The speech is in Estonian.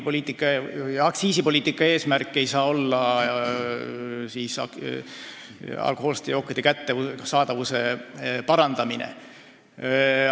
Ei, ega aktsiisipoliitika eesmärk ei saa olla alkohoolsete jookide kättesaadavuse parandamine.